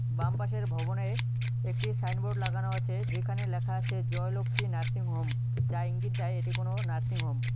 বাম পাশের ভবনের একটি সাইনবোর্ড লাগানো আছে যেখানে লেখা আছে জয়লক্ষ্মী নার্সিংহোম যা ইঙ্গিত দেয় এটি কোন নার্সিংহোম ।